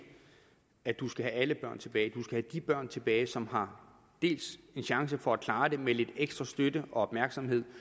at du skal have alle børn tilbage du skal have de børn tilbage som har en chance for at klare det med lidt ekstra støtte og opmærksomhed